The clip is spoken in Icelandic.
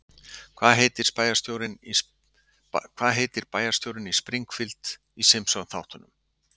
Hvað heitir bæjarstjórinn í Springfield í Simpsonþáttunum?